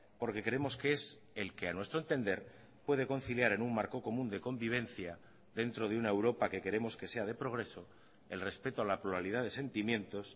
porque creemos que es el que a nuestro entender puede conciliar en un marco común de convivencia dentro de una europa que queremos que sea de progreso el respeto a la pluralidad de sentimientos